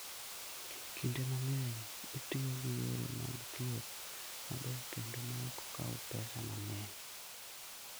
Kinde mang'eny, itiyo gi yore mag thieth mabeyo kendo maok kaw pesa mang'eny.